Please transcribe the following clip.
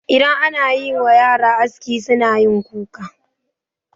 Idan anayiwa yara aski sunayin kuka.